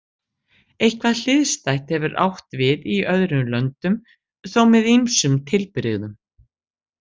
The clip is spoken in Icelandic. Eitthvað hliðstætt hefur átt við í öðrum löndum, þó með ýmsum tilbrigðum.